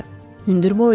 Hündür boylu idi.